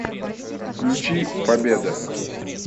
включи победа